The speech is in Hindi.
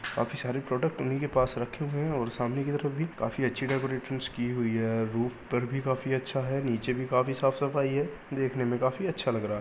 काफी सारे प्रोडक्ट उन्ही के पास रखे हुए है और सामने की तरफ भी काफी अच्छी डेकोरेशन्स की हुई है। रूफ पर भी काफी अच्छा है। नीचे पर भी काफी साफ सफाई है देखने में काफी अच्छा लग रहा है।